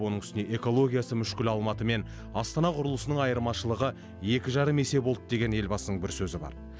оның үстіне экологиясы мүшкіл алматы мен астана құрылысының айырмашылығы екі жарым есе болды деген елбасының бір сөзі бар